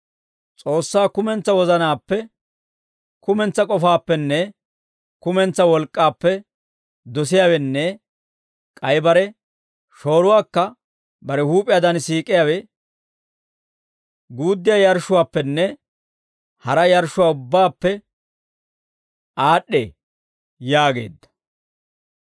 S'oossaa kumentsaa wozanaappe, kumentsaa k'ofaappenne kumentsaa wolk'k'aappe dosiyaawenne k'ay bare shooruwaakka bare huup'iyaadan siik'iyaawe, guuddiyaa yarshshuwaappenne hara yarshshuwaa ubbaappe aad'd'ee» yaageedda.